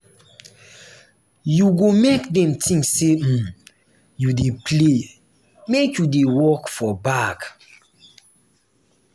you go make dem tink sey um you dey play make you dey work for back.